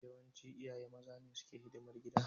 Yawanci iyaye maza ne suke hidimar gida.